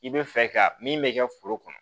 I bɛ fɛ ka min bɛ kɛ foro kɔnɔ